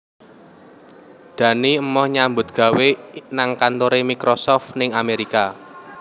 Dani emoh nyambut gawe nang kantore Microsoft ning Amerika